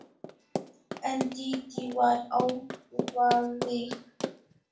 En Dídí var ákveðin.